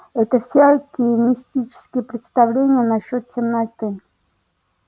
это всякие мистические представления насчёт темноты